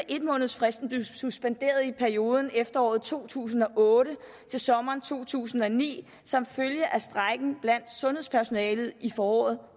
en måneds fristen blev suspenderet i perioden fra efteråret to tusind og otte til sommeren to tusind og ni som følge af strejken blandt sundhedspersonalet i foråret